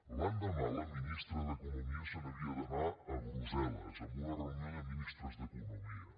l’endemà la ministra d’economia se n’havia d’anar a brussel·les a una reunió de ministres d’economia